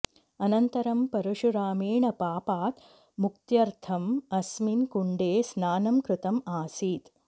अनन्तरं परशुरामेण पापात् मुक्त्यर्थम् अस्मिन् कुण्डे स्नानं कृतम् आसीत्